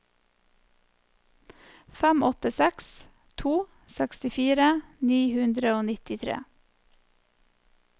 fem åtte seks to sekstifire ni hundre og nittitre